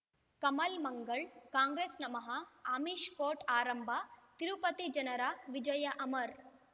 ಕಮಲ್ ಮಂಗಳ್ ಕಾಂಗ್ರೆಸ್ ನಮಃ ಆಮಿಷ್ ಕೋರ್ಟ್ ಆರಂಭ ತಿರುಪತಿ ಜನರ ವಿಜಯ ಅಮರ್